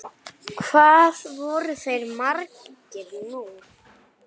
Hvað voru þeir margir nú?